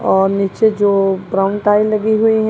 और नीचे जो ब्राउन टाइल लगी हुई हैं।